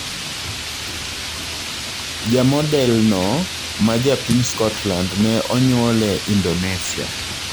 Jamodel no ma japiny Scotland ne onyuole Indonesia